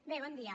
bé bon dia